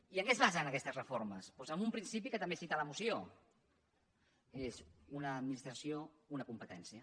i en què es basen aquestes reformes doncs en un principi que també cita la moció és una administració una competència